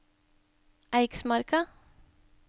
Eiksmarka